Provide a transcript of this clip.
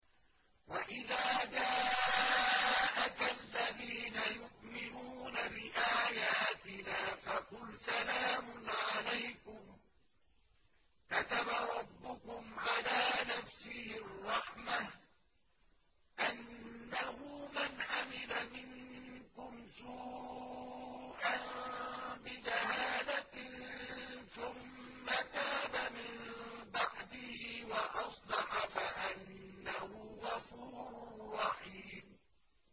وَإِذَا جَاءَكَ الَّذِينَ يُؤْمِنُونَ بِآيَاتِنَا فَقُلْ سَلَامٌ عَلَيْكُمْ ۖ كَتَبَ رَبُّكُمْ عَلَىٰ نَفْسِهِ الرَّحْمَةَ ۖ أَنَّهُ مَنْ عَمِلَ مِنكُمْ سُوءًا بِجَهَالَةٍ ثُمَّ تَابَ مِن بَعْدِهِ وَأَصْلَحَ فَأَنَّهُ غَفُورٌ رَّحِيمٌ